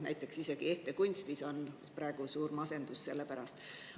Näiteks on isegi ehtekunstnike seas praegu suur masendus selle pärast.